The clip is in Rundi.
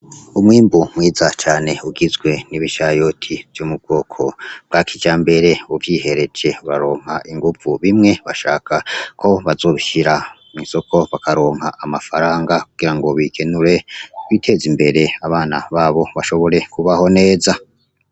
Umwimbu mwiza cane ugizwe n'ibishayoti vy'umubwoko bwakija mbere uvyihereje baronka inguvu bimwe bashaka ko bazoshira mw'insoko bakaronka amafaranga kugira ngo bigenure biteze imbere abana babo bashobore kubaho neza.